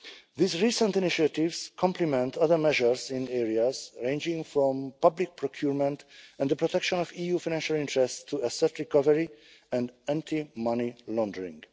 These recent initiatives complement other measures in areas ranging from public procurement and the protection of EU financial interests to asset recovery and anti money laundering.